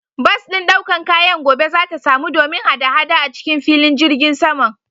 Bas ɗin ɗaukan kayan gobe zata samu domin hada-hada acikin filin jirgin saman.